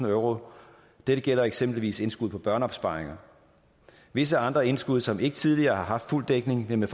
euro dette gælder eksempelvis indskud på børneopsparinger visse andre indskud som ikke tidligere har haft fuld dækning vil med